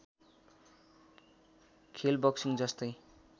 खेल बक्सिङ जस्तै